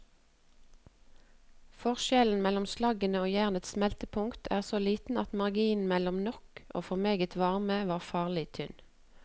Forskjellen mellom slaggens og jernets smeltepunkt er så liten at marginen mellom nok og for meget varme var farlig tynn.